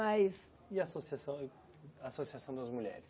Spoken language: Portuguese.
Mas E a associação associação das mulheres?